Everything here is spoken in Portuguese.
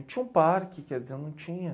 Tinha um parque, quer dizer, não tinha.